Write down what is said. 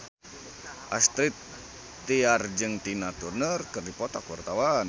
Astrid Tiar jeung Tina Turner keur dipoto ku wartawan